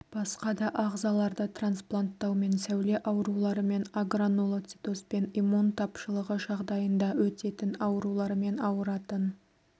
басқа да ағзаларды транспланттаумен сәуле ауруларымен агранулоцитозбен иммун тапшылығы жағдайында өтетін аурулармен ауыратын